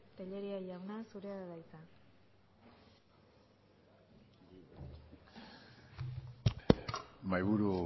tellería jauna zurea da hitza mahaiburu